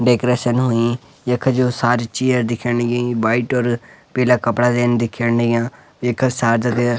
डेकोरेशन हुई यख जो सारी चेयर दिखेंण लगीं वाइट और पीला कपड़ा देन दिखेंण लग्याँ एका साजाद्य।